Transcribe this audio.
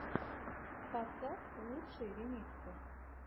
поставь лучшие ремиксы